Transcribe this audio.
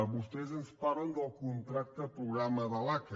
vostès ens parlen del contracte programa de l’aca